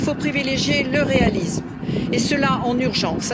Il faut privilégier le réalisme et cela en urgence.